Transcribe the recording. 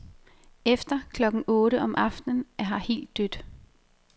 Efter klokken otte om aftenen er her helt dødt.